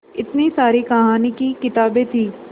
इतनी सारी कहानी की किताबें थीं